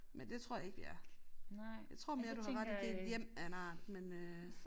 Men det tror jeg ikke vi er. Jeg tror mere du har ret i det et hjem af en art men øh